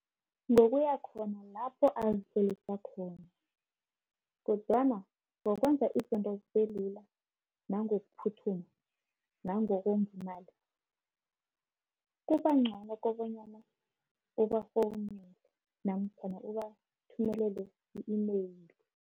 Ngokuya khona lapho azi-save khona, kodwana ngokwenza izinto zibelula, nangokuphuthuma, nangokwenzi imali, kubangcono kobanyana ubafowunele, namkhana ubathumelele i-email.